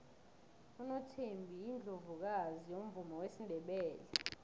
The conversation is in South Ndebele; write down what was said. unothembi yiundlovukazi yomvumo wesindebele